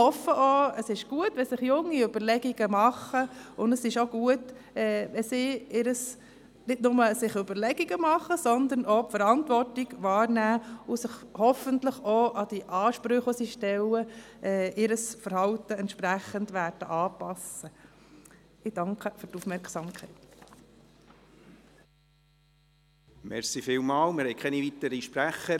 Es ist gut, wenn sich junge Leute Überlegungen dazu machen, und es ist gut, wenn sie auch die Verantwortung wahrnehmen und hoffentlich auch ihr Verhalten an die Ansprüche, die sie stellen, anpassen.